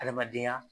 Adamadenya